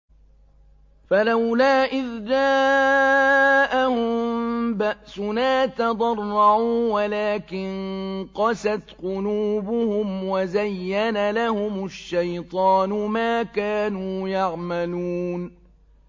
فَلَوْلَا إِذْ جَاءَهُم بَأْسُنَا تَضَرَّعُوا وَلَٰكِن قَسَتْ قُلُوبُهُمْ وَزَيَّنَ لَهُمُ الشَّيْطَانُ مَا كَانُوا يَعْمَلُونَ